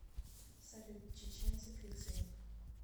салют чеченцы кретины